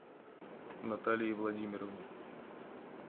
наталии владимировне